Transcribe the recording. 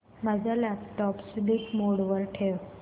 माझा laptop sleep mode वर ठेव